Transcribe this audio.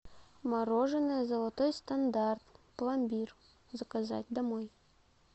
мороженое золотой стандарт пломбир заказать домой